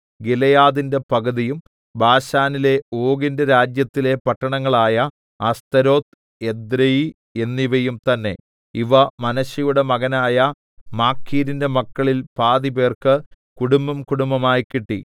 ഗിലെയാദിന്റെ പകുതിയും ബാശാനിലെ ഓഗിന്റെ രാജ്യത്തിലെ പട്ടണങ്ങളായ അസ്തരോത്ത് എദ്രെയി എന്നിവയും തന്നേ ഇവ മനശ്ശെയുടെ മകനായ മാഖീരിന്റെ മക്കളിൽ പാതിപ്പേർക്ക് കുടുംബംകുടുംബമായി കിട്ടി